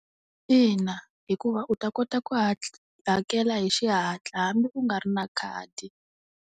Ina hikuva u ta kota ku hakela hi xihatla hambi u nga ri na khadi.